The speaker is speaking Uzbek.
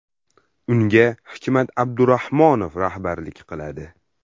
Unga Hikmat Abdurahmonov rahbarlik qiladi.